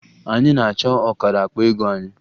Anyị na-achọ ọkara akpa ego anyị